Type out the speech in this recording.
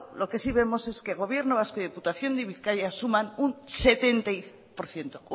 lo que sí vemos es que gobierno vasco y diputación de bizkaia suman